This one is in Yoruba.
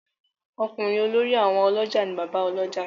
Okunrin olórí àwọn olójà ni Bàbá Olójà.